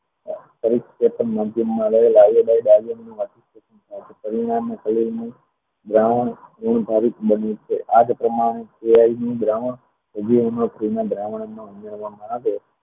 દ્રાવણ ધૂન ભારિત બની આ જ પ્રમાણ AI નું દ્રાવણ ઉમેરવામાં આવે